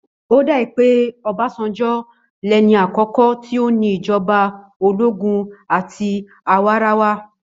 Ó dà pé Ọbásanjọ́ lẹni àkọ́kọ́ tó ní ìjọba ológún àti àwarawa.